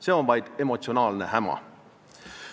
See on vaid emotsionaalne häma.